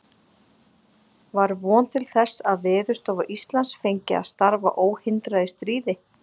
Var von til þess, að Veðurstofa Íslands fengi að starfa óhindrað í stríði?